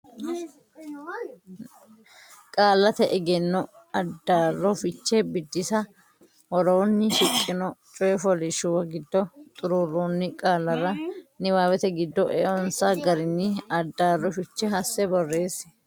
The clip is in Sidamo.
Qaallate Egenno Addaarro Fiche Biddissa Woroonni shiqqino coy fooliishshuwa giddo xuruurroonni qaallara niwaawete giddo eonsa garinni addaarro fiche hasse borreessi.